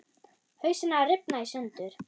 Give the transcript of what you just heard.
Hausinn að rifna í sundur.